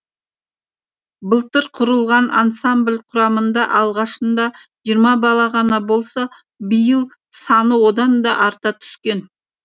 былтыр құрылған ансамбль құрамында алғашында жиырма бала ғана болса биыл саны одан да арта түскен